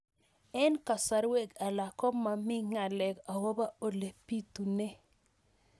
Eng' kasarwek alak ko mami ng'alek akopo ole pitunee